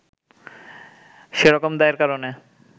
সে রকম দায়ের কারণে